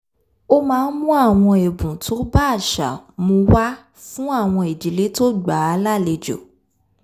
ó máa ń mú àwọn ẹ̀bùn tó bá àṣà mu wá fún àwọn ìdílé tó gbà á lálejò